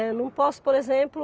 Eu não posso, por exemplo,